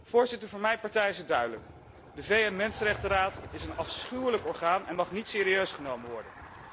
Voorzitter, voor mijn partij is het duidelijk de VN Raad voor de mensenrechten is een afschuwelijk orgaan en mag niet serieus genomen worden.